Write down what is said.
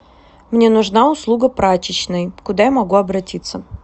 мне нужна услуга прачечной куда я могу обратиться